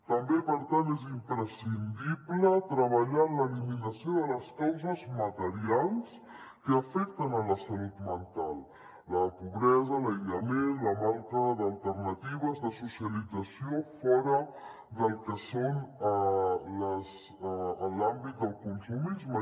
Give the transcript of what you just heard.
també per tant és imprescindible treballar en l’eliminació de les causes materials que afecten la salut mental la pobresa l’aïllament la manca d’alternatives de socialització fora del que és l’àmbit del consumisme